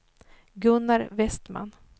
Gunnar Westman